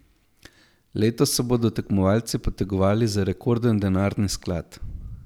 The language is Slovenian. Letos se bodo tekmovalci potegovali za rekorden denarni sklad.